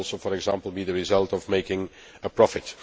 it could also, for example, be the result of making a profit.